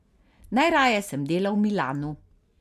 Najraje sem delal v Milanu.